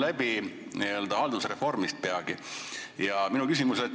Peagi saab aasta haldusreformist.